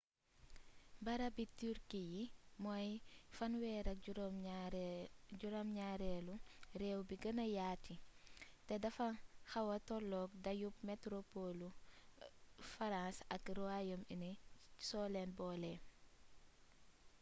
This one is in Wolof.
barabi turki yi mooy 37eelu réew bi gëna yaati te dafa xawa tolook dayoob metropolu farans ak ruwayom uni soo leen boole